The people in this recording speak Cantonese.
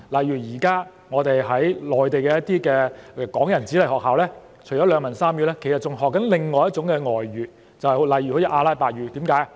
現時內地的港人子弟在學校除了學習兩文三語，其實還在學習另外一種外語，例如阿拉伯語，為甚麼？